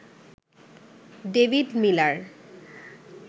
David Miller